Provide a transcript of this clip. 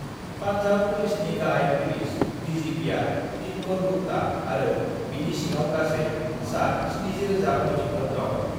"पान्जाब पुलिसनि गाहाय पुलिस डिजिपिआ दिनकर गुप्ता आरो बिनि सिङाव गासै सा-70,000 मावथिफोर दं।"